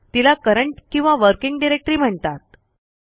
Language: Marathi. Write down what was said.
तिला करंट किंवा वर्किंग डायरेक्टरी म्हणतात